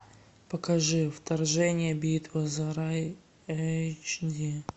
покажи вторжение битва за рай эйч ди